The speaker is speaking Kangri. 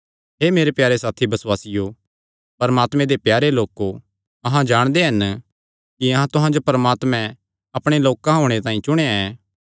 हे मेरे प्यारे साथी बसुआसियो परमात्मे दे प्यारे लोको अहां जाणदे हन कि तुहां जो परमात्मे अपणे लोक होणे तांई चुणी लेआ ऐ